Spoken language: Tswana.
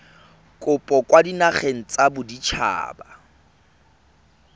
kopo kwa dinageng tsa baditshaba